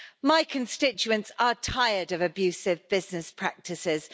My constituents are tired of abusive business practices.